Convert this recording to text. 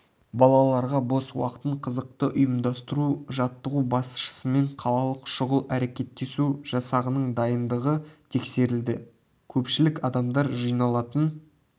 балаларға бос уақытын қызықты ұйымдастыру жаттығу басшысымен қалалық шұғыл әрекеттесу жасағының дайындығы тексерілді көпшілік адамдар жиналатын